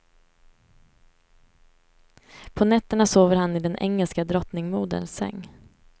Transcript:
På nätterna sover han i den engelska drottningmoderns säng.